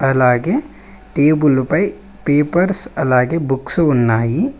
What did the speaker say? అలాగే టేబులు పై పేపర్స్ అలాగే బుక్స్ ఉన్నాయి.